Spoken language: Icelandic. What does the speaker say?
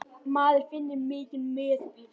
Maður finnur mikinn meðbyr.